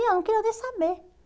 E eu não queria nem saber.